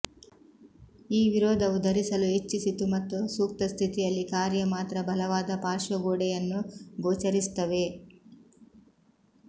ಈ ವಿರೋಧವು ಧರಿಸಲು ಹೆಚ್ಚಿಸಿತು ಮತ್ತು ಸೂಕ್ತ ಸ್ಥಿತಿಯಲ್ಲಿ ಕಾರ್ಯ ಮಾತ್ರ ಬಲವಾದ ಪಾರ್ಶ್ವಗೋಡೆಯನ್ನು ಗೋಚರಿಸುತ್ತವೆ